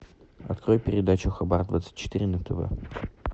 открой передачу хабар двадцать четыре на тв